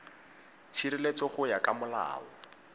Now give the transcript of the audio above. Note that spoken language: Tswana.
tshireletso go ya ka molao